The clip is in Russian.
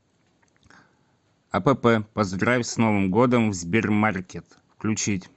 апп поздравь с новым годом в сбермаркет включить